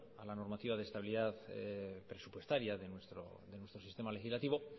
a la normativa de estabilidad presupuestaria de nuestro sistema legislativo